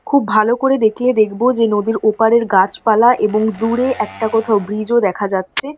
খুব ভালো করে দেখলে দেখবো যে নদীর ওপারের গাছপালা এবং দূরে একটা কোথাও ব্রিজ ও দেখা যাচ্ছে।